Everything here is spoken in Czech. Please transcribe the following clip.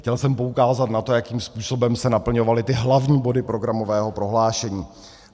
Chtěl jsem poukázat na to, jakým způsobem se naplňovaly ty hlavní body programového prohlášení.